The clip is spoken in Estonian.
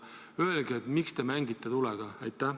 Öelge, miks te mängite tulega?